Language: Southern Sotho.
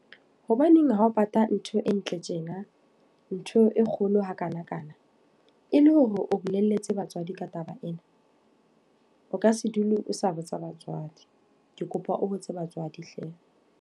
Hobaneng ha o patala ntho e ntle tjena, ntho e kgolo hakana-kana. E le hore o bolelletse batswadi ka taba ena? O ka se dule o sa botsa batswadi. Ke kopa o botse batswadi hle.